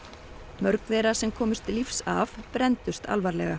mörg þeirra sem komust lífs af brenndust alvarlega